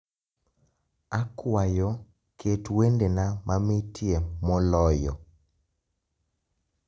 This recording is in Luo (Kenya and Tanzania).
Akwayo ket wendena mamitie moloyo